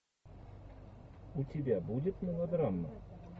у тебя будет мелодрама